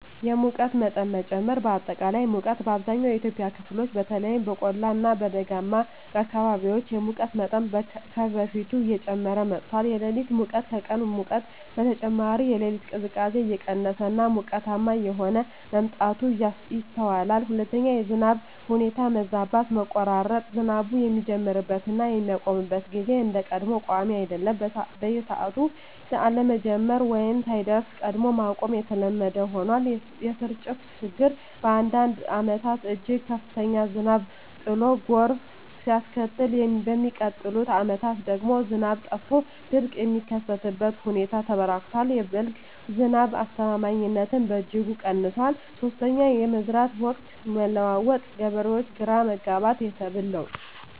1)የሙቀት መጠን መጨመር >>አጠቃላይ ሙቀት: በአብዛኛው የኢትዮጵያ ክፍሎች (በተለይም በቆላማ እና ደጋማ አካባቢዎች) የሙቀት መጠን ከበፊቱ እየጨመረ መጥቷል። >>የሌሊት ሙቀት: ከቀን ሙቀት በተጨማሪ፣ የሌሊት ቅዝቃዜ እየቀነሰ እና ሞቃታማ እየሆነ መምጣቱ ይስተዋላል። 2)የዝናብ ሁኔታ መዛባት >>መቆራረጥ: ዝናቡ የሚጀምርበት እና የሚያቆምበት ጊዜ እንደ ቀድሞው ቋሚ አይደለም። በሰዓቱ አለመጀመር ወይም ሳይደርስ ቀድሞ ማቆም የተለመደ ሆኗል። >>የስርጭት ችግር: በአንዳንድ ዓመታት እጅግ ከፍተኛ ዝናብ ጥሎ ጎርፍ ሲያስከትል፣ በሚቀጥሉት ዓመታት ደግሞ ዝናብ ጠፍቶ ድርቅ የሚከሰትበት ሁኔታ ተበራክቷል። የ"በልግ" ዝናብ አስተማማኝነትም በእጅጉ ቀንሷል። 3)የመዝራት ወቅት መለዋወጥ: የገበሬዎች ግራ መጋባት፣ የሰብል ለውጥ